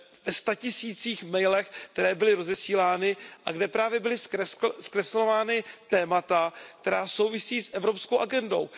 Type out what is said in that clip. ve statisících mailů, které byly rozesílány a kde byla právě zkreslována témata, která souvisí s evropskou agendou.